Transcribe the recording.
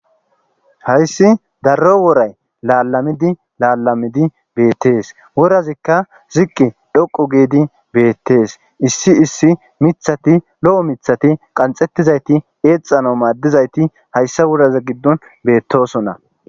Hayssi darro woray laalamidi laalamidi beettees worazikka ziqqi dhoqu giidi beettees issi issi mithati lo7o mithati qanxettizayti eexano maaddizayti hayssa woraza giddon beettosona.